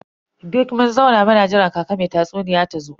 Duk mun zauna muna jiran kaka me tatsuniya tazo.